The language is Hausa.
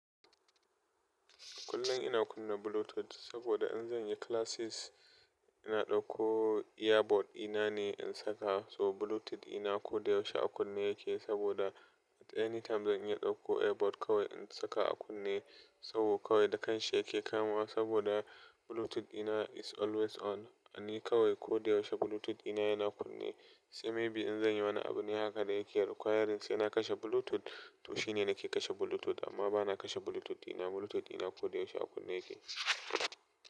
Kullum ina kunna Bluetooth saboda in zan yi classes ina ɗauko earbud dina ne in saka. So Bluetooth dina ko da yaushe a kunne yake saboda at any time zan yi ɗauko earbud kawai in saka a kunne. So kawai da kanshi yake kamawa saboda Bluetooth dina is always on. And ni kawai ko da yaushe Bluetooth dina yana kunne. Sai maybe in zan yi wani abu ne haka da yake requiring sai na kashe Bluetooth, to shi ne nake kashe Bluetooth amma ba na kashe Bluetooth dina. Bluetooth ina ko da yaushe a kunne yake.